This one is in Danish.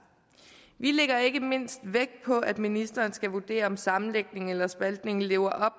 vi lægger ikke mindst vægt på at ministeren skal vurdere om sammenlægningen eller spaltningen lever op